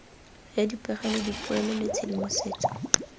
ya dipegelo dipoelo le tshedimosetso